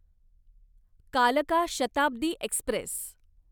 कालका शताब्दी एक्स्प्रेस